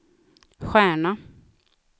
stjärna